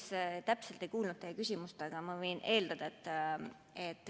Ma päris täpselt ei kuulnud teie küsimust, aga ma võin seda eeldada.